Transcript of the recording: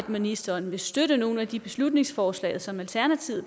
ministeren vil støtte nogle af de beslutningsforslag som alternativet